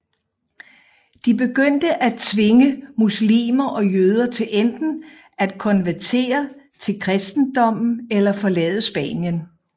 De begyndte at tvinge muslimer og jøder til enten at konvertere til kristendommen eller forlade Spanien